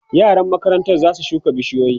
yaran makarantan zasu shuka bishiyoyi